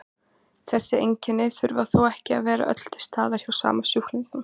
Þessi einkenni þurfa þó ekki að vera öll til staðar hjá sama sjúklingnum.